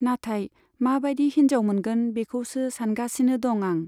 नाथाय मा बादि हिन्जाव मोनगोन बेखौसो सानगासिनो दं आं।